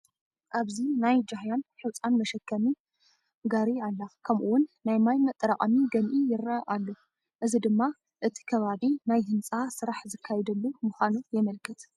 ኣብዚ ናይ ጃህያን ሑፃን መሸከሚ ጋሪላ፡፡ ከምኡውን ናይ ማይ መጠራቐሚ ገንኢ ይርአ ኣሎ፡፡ እዚ ድማ እቲ ከባቢ ናይ ህንፃ ስራሕ ዝካየደሉ ምዃኑ የምልክት፡፡